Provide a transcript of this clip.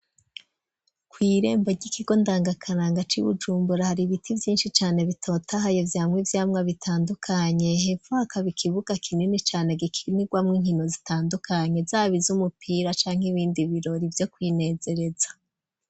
Kw'irembo ry'ikigo ndangakaranga c'i wujumbura hari ibiti vyinshi cane bitotahaye vyamwa ivyamwa bitandukanye hefakaboikibuga kinini cane gikinirwamwo inkino zitandukanye zabiza umupira canke ibindi birori ivyo kwinezereza.